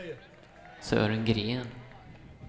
Sören Gren